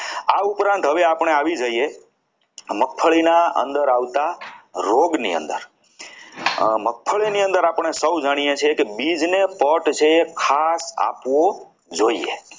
આ ઉપરાંત હવે આપણે આવી જઈએ મગફળીના અંદર આવતા રોગની અંદર મગફળીની અંદર આપણે સૌ જાણીએ છીએ કે બીજને પડ છે ખાસ આપવો જોઈએ.